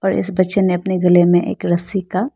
इस बच्चे ने अपने गले मे एक रस्सी का --